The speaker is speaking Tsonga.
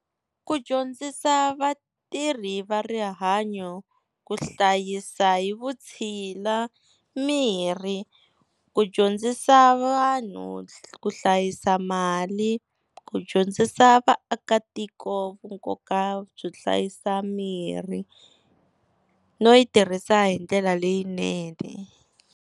Ku dyondzisa vatirhi va rihanyo ku hlayisa hi vutshila mirhi, ku dyondzisa vanhu ku hlayisa mali, ku dyondzisa vaakatiko nkoka byo hlayisa mirhi no yi tirhisa hi ndlela leyinene.